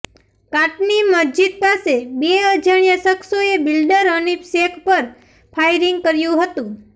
કાટની મસ્જિદ પાસે બે અજાણ્યા શખ્સોએ બિલ્ડર હનિફ શેખ પર ફાયરિંગ કર્યું હતું